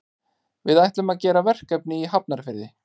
Við ætlum að gera verkefni í Hafnarfirði.